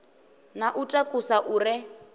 na u takusa u re